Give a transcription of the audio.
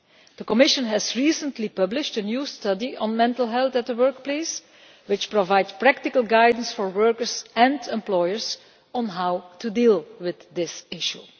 The Commission has recently published a new study on mental health in the workplace which provides practical guidance for workers and employers on how to deal with this issue.